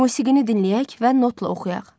Musiqini dinləyək və notla oxuyaq.